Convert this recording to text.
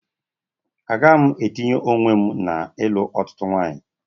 Agaghị m etinye onwe m n'ilụ otụtụ nwawnyi